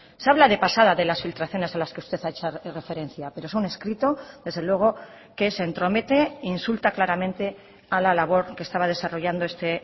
se habla de pasada de las filtraciones a las que usted ha hecho referencia pero es un escrito desde luego que se entromete e insulta claramente a la labor que estaba desarrollando este